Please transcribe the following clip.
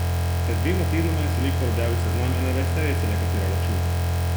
Pred dvema tednoma je selektor objavil seznam enaindvajseterice, na katero računa.